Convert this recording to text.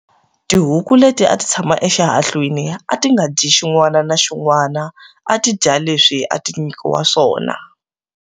Tihuku leti a ti tshama exihahlwini a ti nga dyi xin'wana ni xin'wana a ti dya leswi a ti nyikiwa swona.